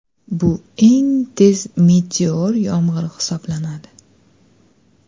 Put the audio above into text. Bu eng tez meteor yomg‘iri hisoblanadi.